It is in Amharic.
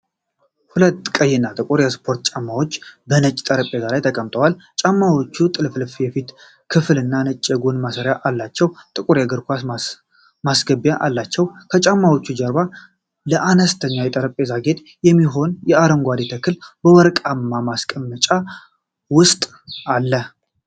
ሁለት ቀይ እና ጥቁር የስፖርት ጫማዎች በነጭ ጠረጴዛ ላይ ተቀምጠዋል። ጫማዎቹ ጥልፍልፍ የፊት ክፍልና ነጭ የጎን ማሰሪያ አላቸው፤ ጥቁር የእግር ማስገቢያ አላቸው። ከጫማዎቹ ጀርባ ለአነስተኛ የጠረጴዛ ጌጥ የሚሆን አረንጓዴ ተክል በወርቃማ ማስቀመጫው ውስጥ አለ።